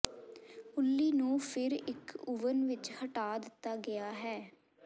ਉੱਲੀ ਨੂੰ ਫਿਰ ਇੱਕ ਓਵਨ ਵਿਚ ਹਟਾ ਦਿੱਤਾ ਗਿਆ ਹੈ